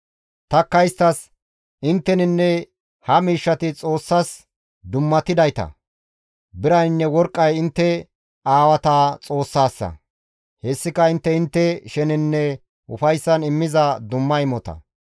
Tanikka isttas, «Intteninne ha miishshati Xoossas dummatidayta; biraynne worqqay intte aawata Xoossaassa; hessika intte intte sheneninne ufayssan immiza dumma imota.